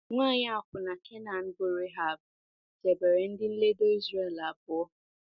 Nwanyị akwụna Kenan bụ́ Rehab chebere ndị nledo Izrel abụọ.